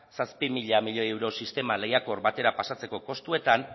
zazpi mila milioi euro sistema lehiakor batera pasatzeko kostuetan